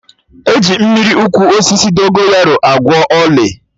E ji Mmiri ụkwụ osisi Dogonyaro agwọ ọlị